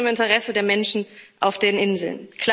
Das ist nicht im Interesse der Menschen auf den Inseln.